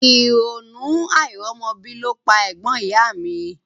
Ìrònú àìrọ́mọbí ló pa ẹ̀gbọ́n ìyá a mi